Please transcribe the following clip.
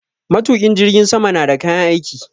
Matukin jirgin sama na da kayan aiki.